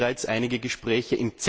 Es gibt bereits einige Gespräche.